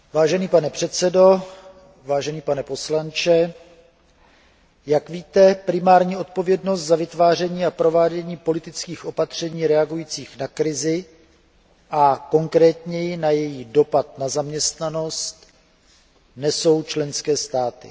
Vážený pane předsedo, vážený pane poslanče, jak víte, primární odpovědnost za vytváření a provádění politických opatření reagujících na krizi a konkrétněji na její dopad na zaměstnanost nesou členské státy.